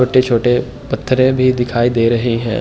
छोटे-छोटे पत्थरें भी दिखाई दे रहे हैं।